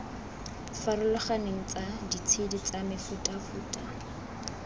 farologaneng tsa ditshedi tsa mefutafuta